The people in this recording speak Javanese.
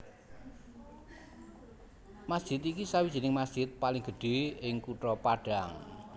Masjid iki sawijining masjid paling gedhe ing Kutha Padang